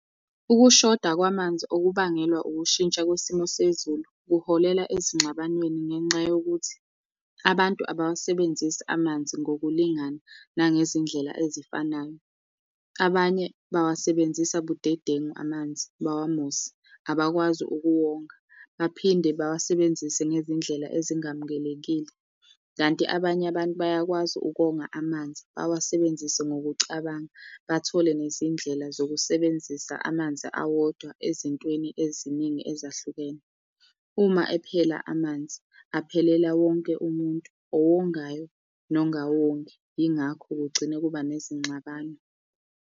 Ukushoda kwamanzi okubangelwa ukushintsha kwesimo sezulu kuholela ezingxabanweni ngenxa yokuthi abantu abawasebenzisi amanzi ngokulingana nangezindlela ezifanayo. Abanye bawasebenzisa budedengu amanzi bawamose, abakwazi ukuwonga, baphinde bawasebenzise ngezindlela ezingamukelekile. Kanti abanye abantu bayakwazi ukonga amanzi bawasebenzise ngokucabanga, bathole nezindlela zokusebenzisa amanzi awodwa ezintweni eziningi ezahlukene. Uma ephela amanzi aphelela wonke umuntu, owongayo nongawongi, yingakho kugcine kuba nezingxabano.